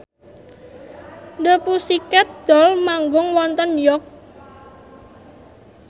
The Pussycat Dolls manggung wonten York